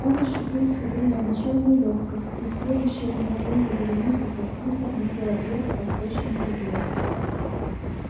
он ощутил в себе необычайную лёгкость и в следующее мгновение вереница со свистом летела вверх по сточной трубе